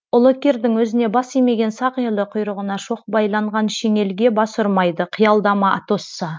ұлы кирдің өзіне бас имеген сақ елі құйрығына шоқ байланған шеңелге бас ұрмайды қиялдама атосса